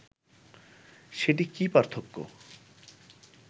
সেটি কি পার্থক্য